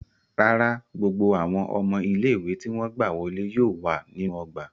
Rárà, gbogbo awọn ọmọ ile-iwe ti wọn gba wọle yóò wa ninu ogba